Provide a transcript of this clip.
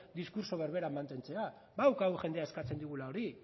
diskurtso berbera mantentzea badaukagu jendea eskatzen digula hori